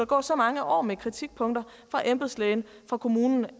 gå så mange år med kritikpunkter fra embedslægen og fra kommunen